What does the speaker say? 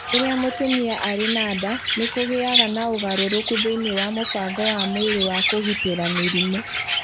Rĩrĩa mũtumia arĩ na nda, nĩ kũgĩaga na ũgarũrũku thĩinĩ wa mũbango wa mwĩrĩ wa kũgitĩra mĩrimũ